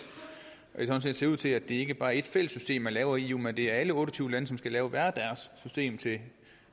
det ser ud til at det ikke bare er ét fælles system man laver i eu men det er alle otte og tyve lande som skal lave hver deres system til